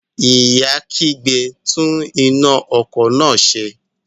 Ìyá kígbe, "tún iná ọkọ̀ náà ṣe".